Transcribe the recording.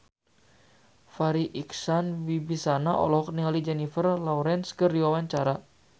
Farri Icksan Wibisana olohok ningali Jennifer Lawrence keur diwawancara